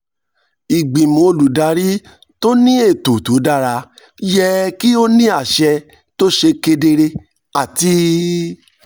ìgbìmọ̀ olùdarí tó ní ètò tó dára yẹ kí ó ní àṣẹ tó ṣe kedere àti